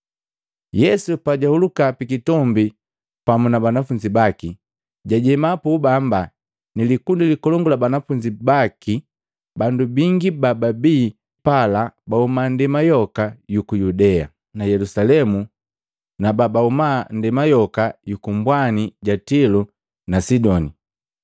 Yesu pajahuluka pikitombi pamu na banafunzi baki, jajema puubamba ni likundi likolongu la banafunzi baki. Bandu bingi bababi pala bahuma nndema yoka yuku Yudea, na Yelusalemu na babahuma nndema yoka yuku kumbwani ja Tilo na Sidoni.